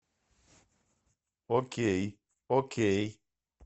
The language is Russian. окей окей